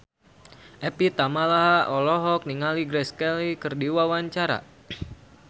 Evie Tamala olohok ningali Grace Kelly keur diwawancara